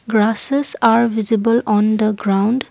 grasses are visible on the ground.